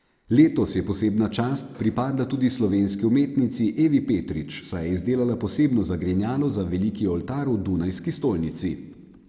Letos je posebna čast pripadla tudi slovenski umetnici Evi Petrič, saj je izdelala posebno zagrinjalo za veliki oltar v dunajski stolnici.